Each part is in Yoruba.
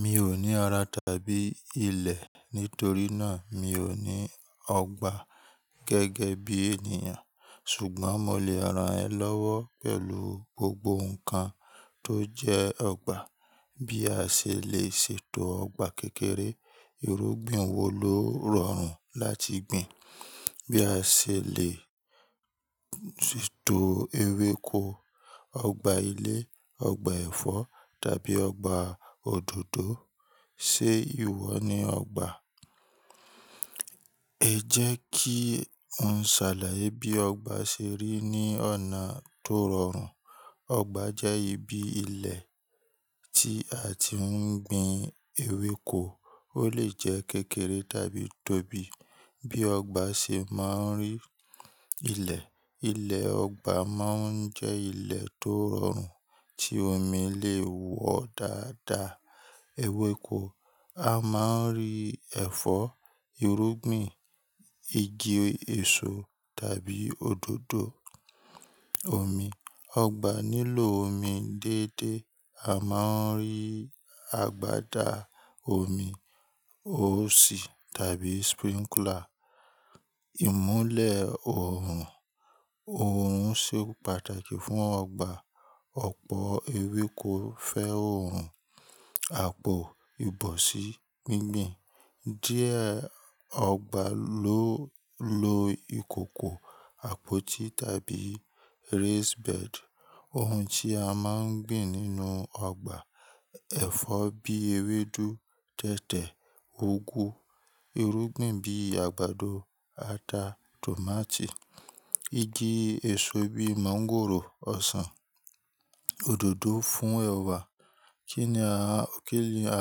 Mi ò ní ara tàbí ilẹ̀, nítorí náà mi ò ní ọgbà gẹ́gẹ́ bí ènìyàn. Ṣùgbọ́n mo lè ran ẹ lọ́wọ́ pẹ̀lú gbogbo nǹkan tó jẹ́ ọgbà. Bí a ṣe lè ṣe ètò ọgbà kékeré, irúgbìn wo ló rọrùn láti gbin? Bí a ṣe lè ṣé ètò ewéko, ọgbà ilé, ọgbà ẹ̀fọ́ tàbí ọgbà òdòdó. Ṣé ìwọ ní ọgbà? Ẹ jẹ́ kí n ṣàlàyé bí ọgbà ṣe rí ní ọ̀nà tó rọrùn. Ọgbà jẹ́ ibi ilẹ̀ tí a ti ń gbin ewéko. Ó lè jẹ́ kékeré tàbí tóbi. Bí ọgbà ṣe máa ń rí ilẹ̀. Ilẹ̀ ọgbà máa ń jẹ́ ilẹ̀ tó rọrùn tí omi lè wọ dáadáa. Ewéko a máa ń rí ẹ̀fọ́, irúgbìn, igi èso tàbí òdòdó. Omi. Ọgbà nílò omi déédéé. A máa ń rí àgbàda omi, óòṣì tàbí sprinkler. Ìmúlẹ̀ oòrùn Oòrùn ṣe pàtàkì fún ọgbà. Ọ̀pọ̀ ewéko fẹ́ oòrùn. Àpò, ìbọ̀sí, gbíngbin. Díẹ̀ ọgbà ló lo ìkòkò, àpótí tàbí raised bed. Ohun tí a máa ń gbin nínú ọgbà. Ẹ̀fọ́ bíi ewédú, tètè, úgú. Irúgbìn bíi àgbàdo, ata, tòmátì. Igi èso bíi mọ́ńgòrò, ọsàn. Òdòdó fún ẹwà. Kí ni a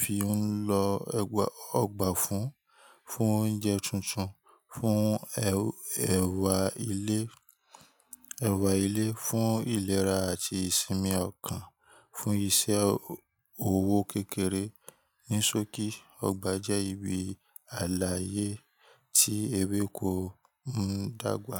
fi ń lo ọgbà fún? Fún oúnjẹ tuntun. Fún ẹwà ilé. Ẹwà ilé. Fún ìlera àti ìsinmi ọkàn. Fún ìṣe owó kékeré. Nisóòkì ọgbà jẹ́ ibi àlàyé tí ewéko ń dàgbà.